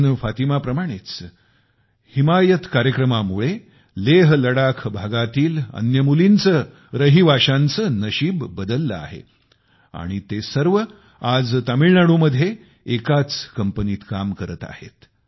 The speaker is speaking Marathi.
परवीन फातिमा प्रमाणेच हिमायत कार्यक्रमामुळे लेहलडाख भागातील अन्य मुलींचे रहिवाशांचे नशीब बदलले आहे आणि ते सर्व आज तामिळनाडूमध्ये एकाच कंपनीत काम करत आहेत